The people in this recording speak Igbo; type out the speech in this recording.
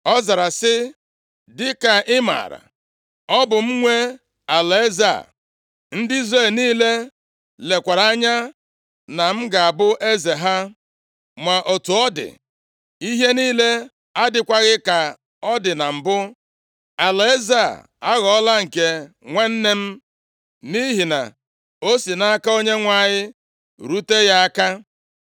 Ọ zara sị, “Dịka ị maara, ọ bụ m nwe alaeze a. Ndị Izrel niile lekwara anya na m ga-abụ eze ha. Ma otu ọ dị, ihe niile adịghịkwa ka ọ dị na mbụ, alaeze a aghọọla nke nwanne m, nʼihi na o si nʼaka Onyenwe anyị rute ya aka.